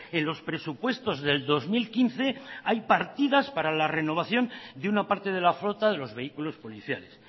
en los presupuestos del dos mil quince hay partidas para la renovación de una parte de la flota de los vehículos policiales